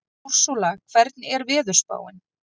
Úrsúla, hvernig er veðurspáin?